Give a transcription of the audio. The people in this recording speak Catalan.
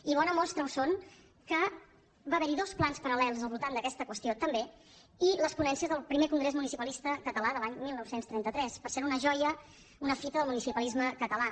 i bona mostra ho és que va haverhi dos plans paral·lels al voltant d’aquesta qüestió també i les ponències del primer congrés municipalista català de l’any dinou trenta tres per cert una joia una fita del municipalisme català